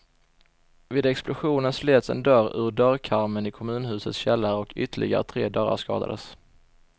Vid explosionen slets en dörr ur dörrkarmen i kommunhusets källare och ytterligare tre dörrar skadades.